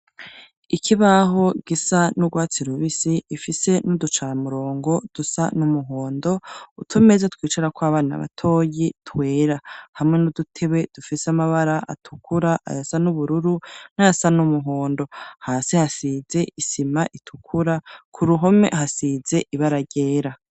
Ikibaho gisa n'ugwatsi rubisi ifise n'uducara murongo dusa n'umuhondo ,utomeza twicarakw'abana batoyi twera, hamwe n'udutebe dufise amabara atukura ,ayasa n'ubururu ,n'ayasa n'umuhondo hasi hasize isima itukura kuruhome hasize ibara ryera.